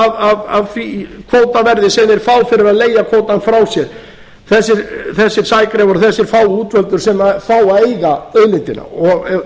sjö prósent af því kvótaverði sem þeir fá fyrir að leigja kvótann frá sér þessir sægreifar og þessir fáu útvöldu sem fá að eiga auðlindina og